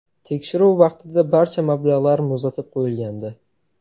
Tekshiruv vaqtida barcha mablag‘lar muzlatib qo‘yilgandi.